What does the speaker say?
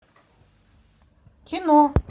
кино